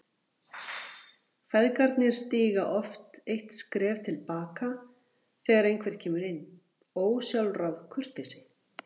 Feðgarnir stíga oft eitt skref til baka þegar einhver kemur inn, ósjálfráð kurteisi.